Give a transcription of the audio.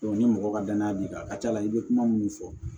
ni mɔgɔ ka danaya b'i kan a ka ca ala fɛ i bɛ kuma minnu fɔ